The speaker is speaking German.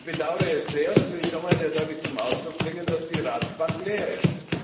Ich bedaure es sehr, das will ich schon mal sehr deutlich zum Ausdruck bringen, dass die Ratsbank leer ist.